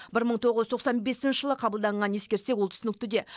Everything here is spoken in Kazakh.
бір мың тоғыз жүз тоқсан бесінші жылы қабылданғанын ескерсек ол түсінікті де